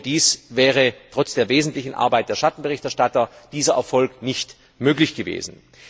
Ohne dies wäre trotz der wesentlichen Arbeit der Schattenberichterstatter dieser Erfolg nicht möglich gewesen.